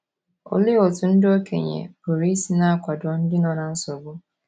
Olee otú ndị okenye pụrụ isi na - akwado ndị no na nsogbu?